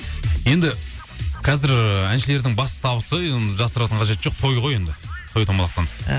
енді қазір ыыы әншілердің басты табысы енді жасыратыны қажеті жоқ той ғой енді той томалақтан иә